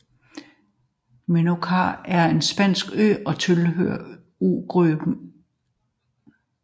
Menorca er en spansk ø og tilhører øgruppen de Baleariske Øer beliggende i Middelhavet